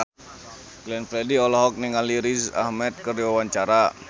Glenn Fredly olohok ningali Riz Ahmed keur diwawancara